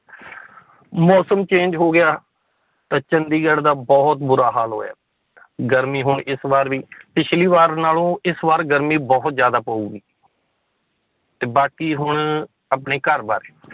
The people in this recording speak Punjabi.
ਮੌਸਮ change ਹੋ ਗਿਆ, ਤਾਂ ਚੰਡੀਗੜ੍ਹ ਦਾ ਬਹੁਤ ਬੁਰਾ ਹਾਲ ਹੋਇਆ ਗਰਮੀ ਹੁਣ ਇਸ ਬਾਰ ਵੀ ਪਿੱਛਲੀ ਵਾਰ ਨਾਲੋਂ ਇਸ ਵਾਰ ਗਰਮੀ ਬਹੁਤ ਜ਼ਿਆਦਾ ਪਊਗੀ ਤੇ ਬਾਕੀ ਹੁਣ ਆਪਣੇ ਘਰ ਬਾਰੇ